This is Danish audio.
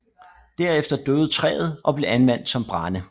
Derefter døde træet og blev anvendt som brænde